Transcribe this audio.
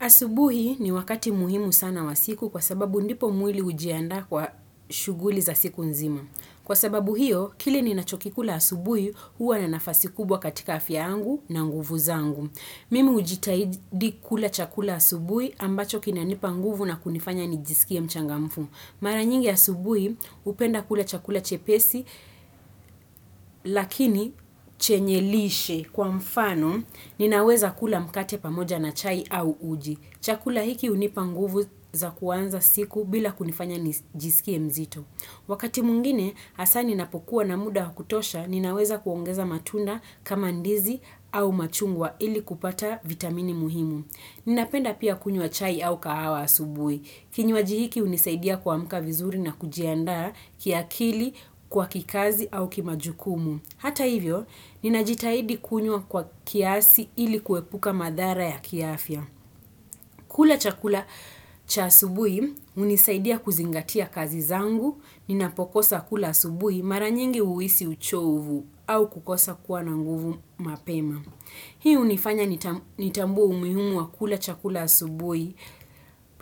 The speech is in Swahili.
Asubuhi ni wakati muhimu sana wa siku kwa sababu ndipo mwili hujiandaa kwa shughuli za siku nzima. Kwa sababu hiyo, kile ninachokikula asubuhi, huwa na nafasi kubwa katika afya yangu na nguvu zangu. Mimi hujitahidi kula chakula asubuhi ambacho kinanipa nguvu na kunifanya nijisikie mchangamfu. Mara nyingi asubuhi hupenda kula chakula chepesi lakini chenye lishe kwa mfano ninaweza kula mkate pamoja na chai au uji. Chakula hiki hunipa nguvu za kuanza siku bila kunifanya nijisikie mzito. Wakati mwengine, hasa ninapokuwa na muda kutosha, ninaweza kuongeza matunda kama ndizi au machungwa ili kupata vitamini muhimu. Ninapenda pia kunywa chai au kahawa asubui. Kinywaji hiki hunisaidia kuamka vizuri na kujiandaa kiakili kwa kikazi au kimajukumu. Hata hivyo, ninajitahidi kunywa kwa kiasi ili kuepuka madhara ya kiafya. Kula chakula cha asubui hunisaidia kuzingatia kazi zangu, ninapokosa kula asubui mara nyingi huhisi uchovu au kukosa kuwa na nguvu mapema. Hii hunifanya nitambue umuhimu wa kula chakula asubui